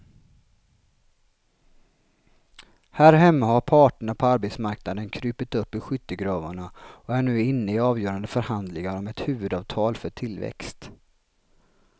Här hemma har parterna på arbetsmarknaden krupit upp ur skyttegravarna och är nu inne i avgörande förhandlingar om ett huvudavtal för tillväxt.